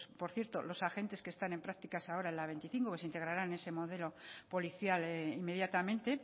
por cierto los agentes que están en prácticas ahora la veinticinco que se integrarán en ese modelo policial inmediatamente